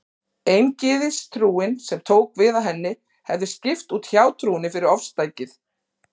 Eingyðistrúin, sem tók við af henni, hefði skipt út hjátrúnni fyrir ofstækið.